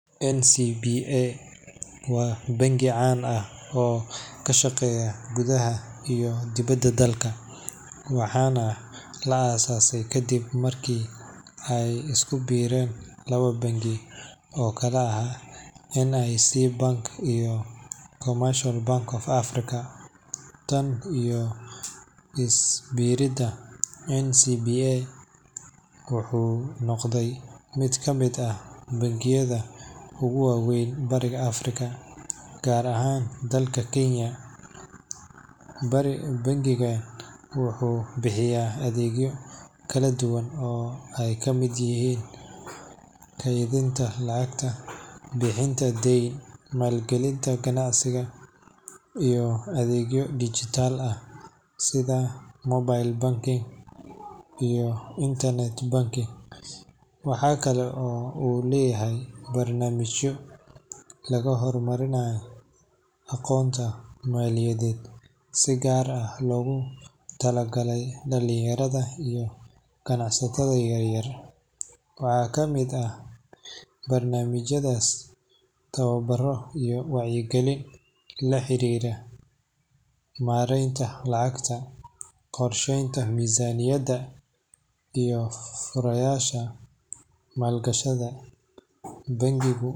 NCBA waa bangi caan ah oo ka shaqeeya gudaha iyo dibadda dalka, waxaana la aasaasay kaddib markii ay is ku biireen laba bangi oo kala ahaa NIC Bank iyo Commercial Bank of Africa. Tan iyo is biiriddii, NCBA wuxuu noqday mid ka mid ah bangiyada ugu waaweyn Bariga Afrika, gaar ahaan dalka Kenya. Bangigani wuxuu bixiya adeegyo kala duwan oo ay ka mid yihiin kaydinta lacagta, bixinta deyn, maalgelinta ganacsiga, iyo adeegyo dhijitaal ah sida mobile banking iyo internet banking. Waxa kale oo uu leeyahay barnaamijyo lagu horumarinayo aqoonta maaliyadeed, si gaar ah loogu talagalay dhalinyarada iyo ganacsatada yaryar. Waxaa ka mid ah barnaamijyadaas tababaro iyo wacyigelin la xiriira maaraynta lacagta, qorsheynta miisaaniyadda, iyo fursadaha maalgashi. Bangi.